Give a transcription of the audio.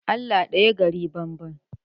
Allah ɗaya gari banban.